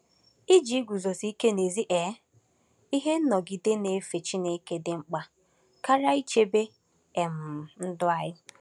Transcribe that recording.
Iji iguzosi ike n’ezi um ihe nọgide na-efe Chineke dị mkpa karịa ichebe um ndụ anyị.